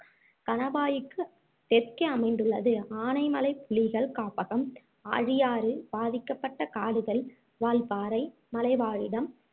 கனாவாய்க்கு தெற்கே அமைந்துள்ளது ஆனைமலை புலிகள் காப்பகம் ஆழியாறு பாதிக்கப்பட்ட காடுகள் வால்பாறை மலைவாழிடம்